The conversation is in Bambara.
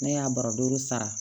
Ne y'a bara duuru sara